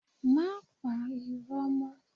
Má pa iro mó.